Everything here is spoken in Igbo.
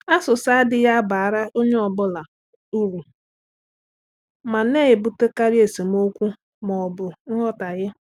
Asụsa adịghị abara onye ọ bụla uru ma na-ebutekarị esemokwu ma ọ bụ nghọtahie.